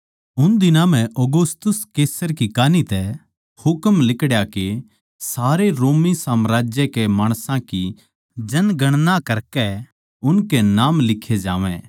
उन दिनां म्ह औगुस्तुस कैसर की कान्ही तै हुकम लिकड़या के सारे रोमी साम्राज्य कै माणसां की जनगणना करकै उनके नाम लिक्खे जावै